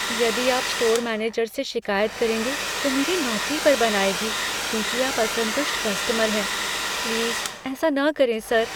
यदि आप store manager से शिकायत करेंगे, तो मेरी नौकरी पर बन आएगी, क्योंकि आप असंतुष्ट कस्टमर हैं। प्लीज़, ऐसा न करें, सर। दुकान का क्लर्क